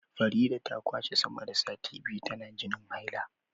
Farida ta kwashe sama da sati biyu tana jinin haila